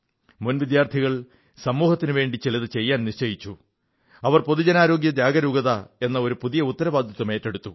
മുൻ വിദ്യാർഥികൾ സമൂഹത്തിനുവേണ്ടി ചിലതു ചെയ്യാൻ നിശ്ചയിച്ചു അവർ പൊതുജനാരോഗ്യ ജാഗരൂകത എന്ന ഒരു ഉത്തരവാദിത്തം എറ്റെടുത്തു